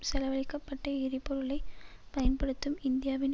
செலவழிக்க பட்ட எரிபொருளை பயன்படுத்தும் இந்தியாவின்